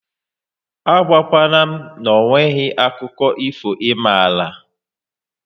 A gwa kwana m na onweghi akụkọ ifo ị mara